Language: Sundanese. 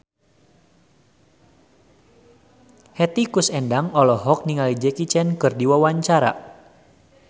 Hetty Koes Endang olohok ningali Jackie Chan keur diwawancara